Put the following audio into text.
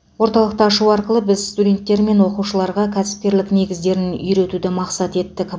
орталықты ашу арқылы біз студенттер мен оқушыларға кәсіпкерлік негіздерін үйретуді мақсат еттік